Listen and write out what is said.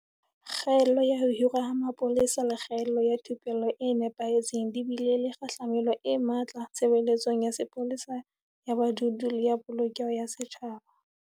Kgaello ya ho hirwa ha mapolesa le kgaello ya thupello e nepahetseng di bile le kgahlamelo e matla tshebeletsong ya sepolesa ya badudi le ya Polokeho ya Setjhaba.